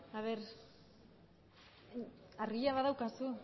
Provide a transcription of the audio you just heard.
emandako